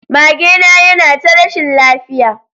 Magena yana ta rashin lafiya.